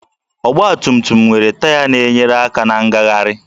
Ọgbatumtum nwere taya na-enyere aka na ngagharị